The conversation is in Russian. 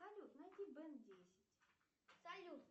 салют найди бен десять